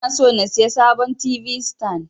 Inason in siya sabon t.v sitan.